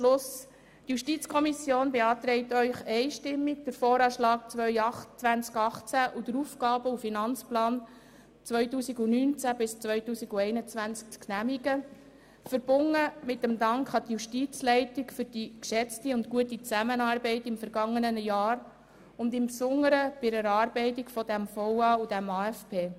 Die JuKo beantragt Ihnen einstimmig, den VA 2018 und den AFP 2019–2021 zu genehmigen, verbunden mit dem Dank an die Justizleitung für die geschätzte und gute Zusammenarbeit im vergangenen Jahr und insbesondere bei der Erarbeitung des VA und des AFP.